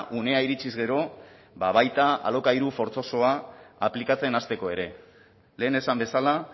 unea iritsiz gero baita alokairu fortzosoa aplikatzen hasteko ere lehen esan bezala